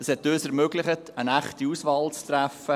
Es hat uns ermöglicht, eine echte Auswahl zu treffen.